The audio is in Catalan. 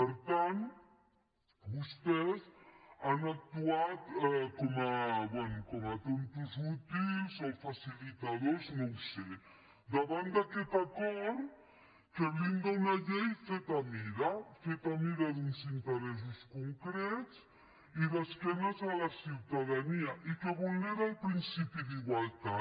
per tant vostès han actuat com a tontos útils o facilitadors no ho sé davant d’aquest acord que blinda una llei feta a mida feta a mida d’uns interessos concrets i d’esquena a la ciutadania i que vulnera el principi d’igualtat